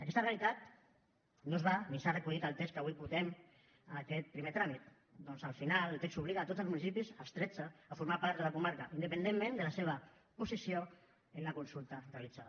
aquesta realitat no es va ni s’ha recollit al text del qual avui votem aquest primer tràmit perquè al final el text obliga tots els municipis els tretze a formar part de la comarca independentment de la seva posició en la consulta realitzada